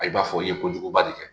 Ayi i b'a fɔ i ye kojuguba de kɛ